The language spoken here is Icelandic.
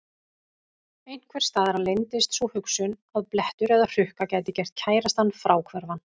Einhvers staðar leyndist sú hugsun að blettur eða hrukka gæti gert kærastann fráhverfan.